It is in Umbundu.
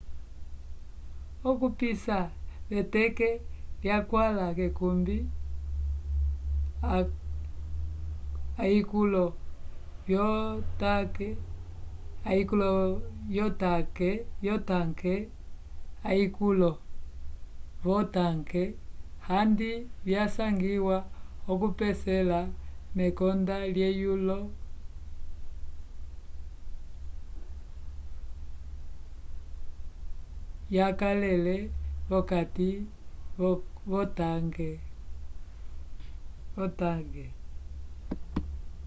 okupisa veteke yakwãla k'ekumbi ayikulo vyotanke handi vyasangiwa okupesela mekonda lyelulwo yakalele vokati k'otanke